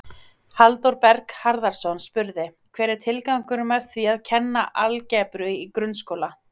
Halldór Berg Harðarson spurði: Hver er tilgangurinn með því að kenna algebru í grunnskóla?